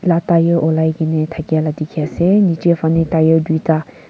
la tyre olai kena thakya la dikhiase nichae fanae tyre tuita.